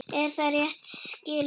Er það rétt skilið?